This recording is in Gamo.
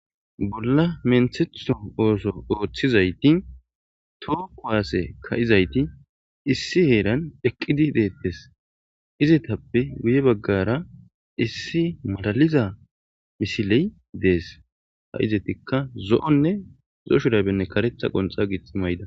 Bolla menthetho ooso ooththizayti too kowaase ka'izayti issi heeran eqqidi deettes izetappe guye baggara issi malaliza misiley dees ha'izetikka zo'onne zo'o shurabenne karetha qonxa giixi mayda.